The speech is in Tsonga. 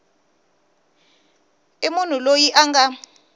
i munhu loyi a nga